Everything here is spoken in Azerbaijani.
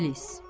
İblis.